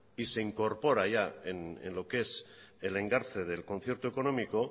y se incorpora ya en lo que es el engarce del concierto económico